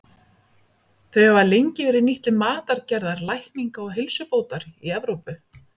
Þau hafa lengi verið nýtt til matargerðar, lækninga og heilsubótar í Evrópu.